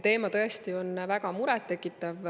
Teema on tõesti väga muret tekitav.